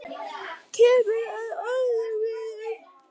Kemur að orðum mínum.